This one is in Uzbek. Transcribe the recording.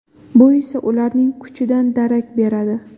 Bu esa ularning kuchidan darak beradi.